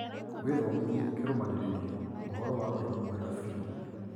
Wĩthomithie kĩrũmanĩrĩrio ũhoro wa ũrĩmi mwega biũ